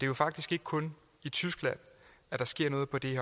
jo faktisk ikke kun i tyskland at der sker noget på det